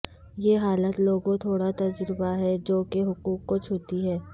یہ حالت لوگوں تھوڑا تجربہ ہے جو کے حقوق کو چھوتی ہے